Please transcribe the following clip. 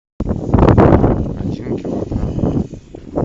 один килограмм